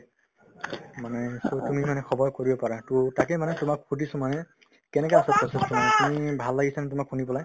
মানে so তুমি মানে খবৰ কৰিব পাৰা to তাকে মানে তোমাক সুধিছো মানে কেনেকে তুমি ভাল লাগিছে নে তোমাৰ শুনি পেলায়